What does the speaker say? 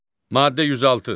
Maddə 106.